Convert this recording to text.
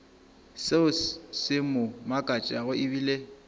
seo se mo makatšago ebile